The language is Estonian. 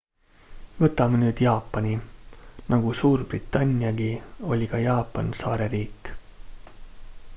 võtame nüüd jaapani nagu suurbritanniagi oli ka jaapan saareriik